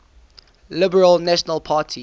liberal national party